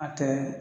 A tɛ